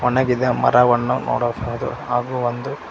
ಒಣಗಿದ ಮರವನ್ನು ನೋಡಬಹುದು ಹಾಗು ಒಂದು--